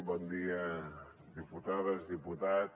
bon dia diputades diputats